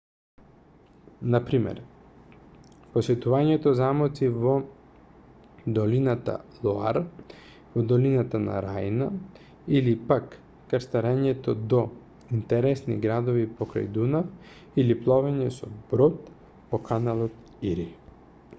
на пример посетување замоци во долината лоар во долината на рајна или пак крстарење до интересни градови покрај дунав или пловење со брод по каналот ири